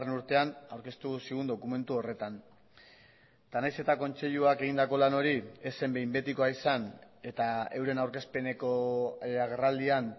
urtean aurkeztu zigun dokumentu horretan eta naiz eta kontseiluak egindako lan hori ez zen behin betikoa izan eta euren aurkezpeneko agerraldian